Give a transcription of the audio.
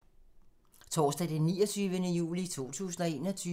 Torsdag d. 29. juli 2021